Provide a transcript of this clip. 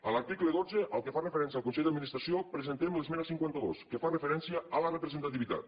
a l’article dotze el que fa referència al consell d’administració presentem l’esmena cinquanta dos que fa referència a la representativitat